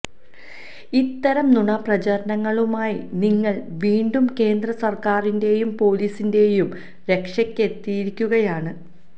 ഇത്തരം നുണ പ്രചാരണങ്ങളുമായി നിങ്ങള് വീണ്ടും കേന്ദ്രസര്ക്കാരിന്റേയും പൊലീസിന്റേയും രക്ഷയ്ക്കെത്തിയിരിക്കുകയാണ്